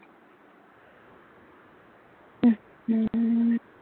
হম হম